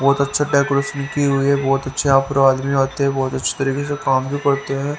बहुत अच्छा डेकोरेशन की हुई है बहुत अच्छे यहां पर आदमी आते हैं बहुत अच्छे तरीके से काम भी करते हैं।